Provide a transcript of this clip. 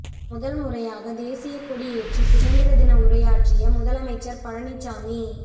முதல்முறையாக தேசியக்கொடி ஏற்றி சுதந்திர தின உரையாற்றிய முதலமைச்சர் பழனிசாமி